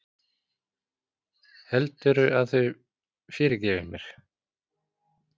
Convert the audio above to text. Helduru að þau geti fyrirgefið mér?